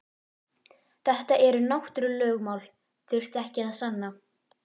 Þetta náttúrulögmál þurfti ekki að sanna.